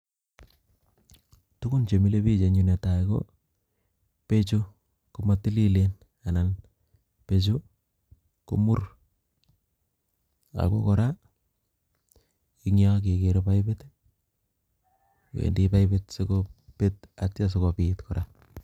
Tukun chemilebik en yuu netai ko bechu komotililen anan bechu komur ako kora eng' yoon kekere paipit wendii paipit sityoo kobet ak sityoo sikobiit kora.